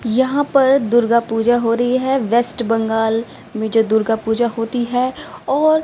यहां पर दुर्गा पूजा हो रही है वेस्ट बंगाल में जो दुर्गा पूजा होती है और--